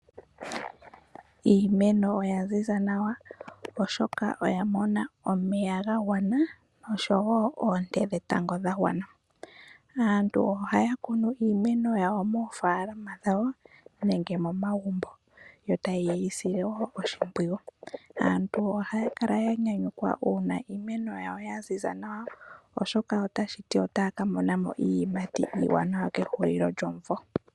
Iimeno oya ziza nawa, oshoka oya mona omeya ga gwana osho wo oonte dhetango dhagwana .Aantu ohaya kunu iimeno yawo moofaalama dhawo nenge momagumbo ,yo taye yi sile wo oshimpwiyu. Aantu ohaya kala ya nyanyukwa uuna iimeno yawo ya ziza nawa ,oshoka otashi ti otaya ka mona mo iiyimati iiwanawa kehulilo lyomvo.